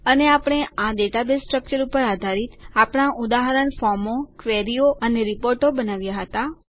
અને આપણે આ ડેટાબેઝ સ્ટ્રકચર ઉપર આધારિત આપણા ઉદાહરણ ફોર્મો ક્વેરીઓ અને રીપોર્ટો બનાવ્યાં હતા